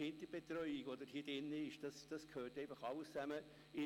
Beim zweiten Fall, Prêles, war ich auch dabei.